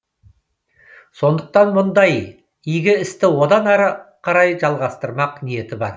сондықтан мұндай игі істі одан ары қарай жалғастырмақ ниеті бар